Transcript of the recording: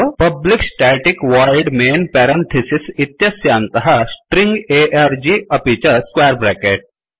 public static void main parenthesis एतस्यान्तः string arg अपि च स्क्वेर ब्रेकेट